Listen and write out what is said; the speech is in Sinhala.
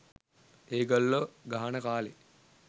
ඒගොල්ලෝ ගහන කාලේ